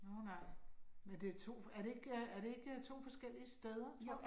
Nåh nej, det er to men er det ikke er det ikke to forskellige steder, tror du